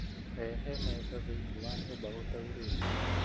Rehe metha thĩiniĩ wa nyũmba gũtaurĩte